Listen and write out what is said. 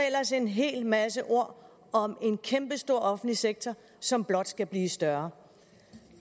ellers en hel masse ord om en kæmpestor offentlig sektor som blot skal blive større